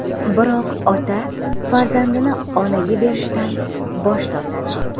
Biroq ota farzandini onaga berishdan bosh tortadi.